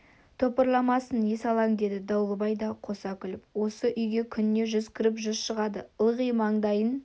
топырламасын есалаң деді дауылбай да қоса күліп осы үйге күніне жүз кіріп жүз шығады ылғи маңдайын